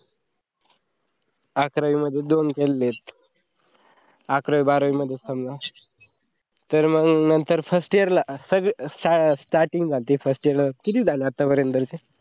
अकरावी मध्ये दोन केलते, अकरावी बारवी समजा तर मंग नंतर first year ला सगळी starting झालती किती झाले आत्तापर्यंत?